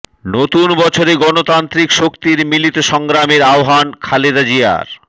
নতুন বছরে গণতান্ত্রিক শক্তির মিলিত সংগ্রামের আহ্বান খালেদা জিয়ার